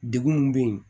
Degun min bɛ yen